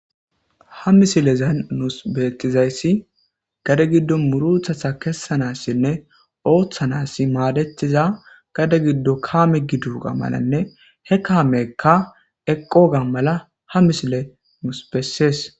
Ha mislazan nus betidays, gade gidon murutata kasanasne otanas madetza gade gido kame gidoga malane, he kameka aqoga mala nus beses.